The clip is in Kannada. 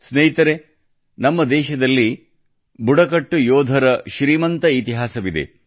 ಸ್ನೇಹಿತರೇ ನಮ್ಮ ದೇಶದಲ್ಲಿ ಬುಡಕಟ್ಟು ಯೋಧರ ಶ್ರೀಮಂತ ಇತಿಹಾಸವಿದೆ